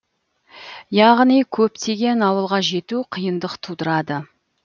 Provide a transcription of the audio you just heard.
яғни көптеген ауылға жету қиындық тудырады